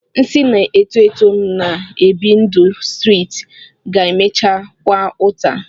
Nsị na-eto eto na-ebi ndụ streeti ga-emecha kwaa ụta